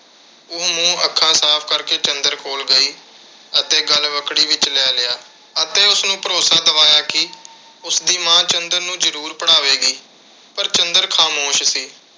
ਉਹ ਮੂੰਹ-ਅੱਖਾਂ ਸਾਫ਼ ਕਰਕੇ ਚੰਦਰ ਕੋਲ ਗਈ ਅਤੇ ਗਲਵੱਕੜੀ ਵਿੱਚ ਲੈ ਲਿਆ ਅਤੇ ਉਸਨੂੰ ਭਰੋਸਾ ਦਿਵਾਇਆ ਕਿ ਉਸਦੀ ਮਾਂ ਚੰਦਰ ਨੂੰ ਜ਼ਰੂਰ ਪੜ੍ਹਾਵੇਗੀ। ਪਰ ਚੰਦਰ ਖਾਮੋਸ਼ ਸੀ।